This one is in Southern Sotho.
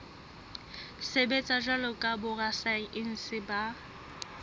sebetsa jwalo ka borasaense ba